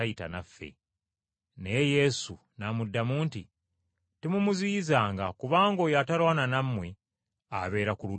Naye Yesu n’amuddamu nti, “Temumuziyizanga kubanga oyo atalwana nammwe abeera ku ludda lwammwe.”